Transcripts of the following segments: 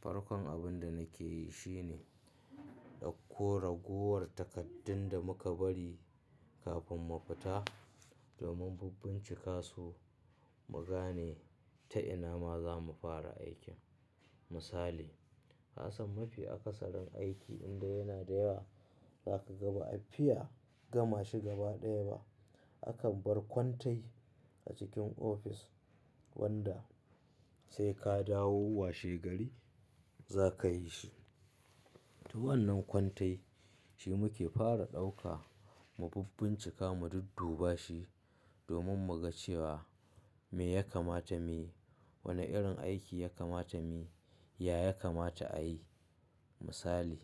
Farkon abin da nake yi shine ɗauko raguwar takardun da muka bari kafin mu fita domin bin bincika su mu gane ta ina ma za mu fara aikin. Misali, Hasan mafi akasarin aiki indai yana da yawa zaka ga ba afiya gama shi gaba ɗaya ba. Akan bar kwantai a cikin ofis wanda sai ka dawo washe gari za ka yi shi. To wannan kwantai shi muke fara ɗauka mu bincika mu dudduba shi domin mu ga cewa me ya kamata muyi, wane irin aiki ya kamata muyi, ya ya kamata ayi. Misali,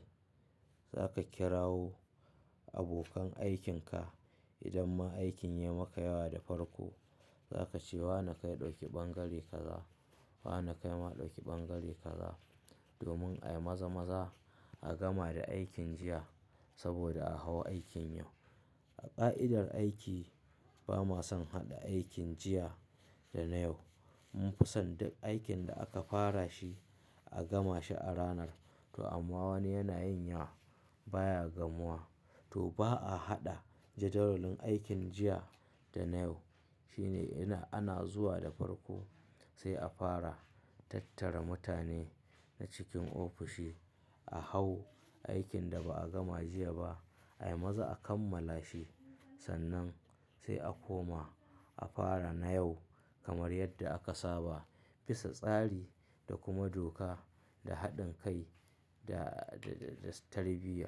za ka kirawo abokan aikin ka idan ma aikin ya maka yawa da farko. Za ka ce "wane kai ɗauki bangare kaza, wane kai ma ɗauki bangare kaza" domin a yi maza-maza a gama da aikin jiya saboda a hau aikin yau. A ka'idar aiki ba ma son haɗa aikin jiya da na yau. Mun fi son duk aikin da aka fara shi a gama shi a ranar. To amma wani yana yin yawa baya gamuwa. To ba a haɗa jadawalin aikin jiya da na yau shine in ana zuwa da farko sai a fara tattara mutane na cikin ofishi a hau aikin da ba a gama jiya ba a yi maza a kammala shi. Sannan sai a koma a fara na yau kamar yadda aka saba. Bisa tsari da kuma doka da haɗin kai da-da-da tarbiyya.